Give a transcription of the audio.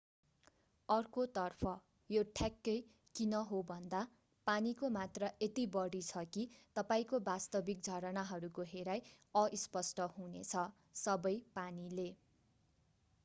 अर्कोतर्फ यो ठ्याक्कै किन होभन्दा पानीको मात्रा यति बढी छ कि तपाईंको वास्तविक झरनाहरूको हेराइ अस्पष्ट हुनेछ सबै पानीले